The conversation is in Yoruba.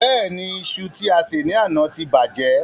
Bẹ́ẹ̀ni, iṣu tí a sè ní àná ti bàjẹ́.